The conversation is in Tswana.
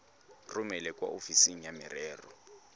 romele kwa ofising ya merero